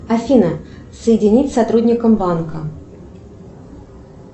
афина соединить с сотрудником банка